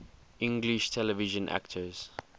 english television actors